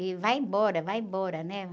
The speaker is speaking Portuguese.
E vai embora, vai embora, né?